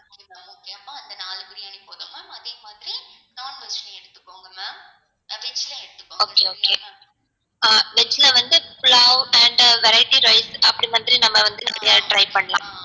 okay okay veg ல வந்து pulav and variety rice அப்டி மாதிரி நம்ம வந்து try பண்ணலாம்